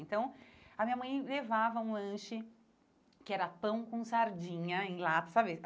Então, a minha mãe levava um lanche que era pão com sardinha em lata, sabe?